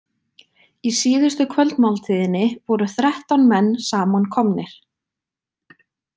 Í síðustu kvöldmáltíðinni voru þrettán menn samankomnir.